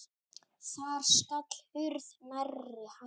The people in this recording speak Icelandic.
Þar skall hurð nærri hælum.